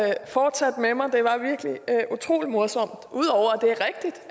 jeg fortsat med mig det var virkelig utrolig morsomt ud over